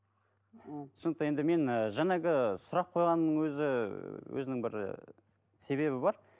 түсінікті енді мен і жаңағы сұрақ қойғанның өзі өзінің бір ііі себебі бар